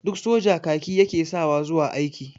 Duk soja kaki ya ke sawa zuwa aiki.